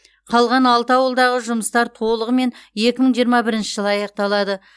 қалған алты ауылдағы жұмыстар толығымен екі мың жиырма бірінші жылы аяқталады